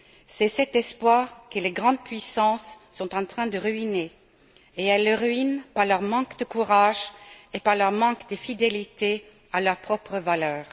C'est cet espoir que les grandes puissances sont en train de ruiner et elles le ruinent par leur manque de courage et par leur manque de fidélité à leurs propres valeurs.